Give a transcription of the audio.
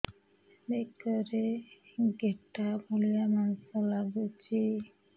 ବେକରେ ଗେଟା ଭଳିଆ ମାଂସ ଲାଗୁଚି